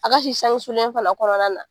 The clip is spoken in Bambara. A ka si sange sulen fana kɔrɔna na.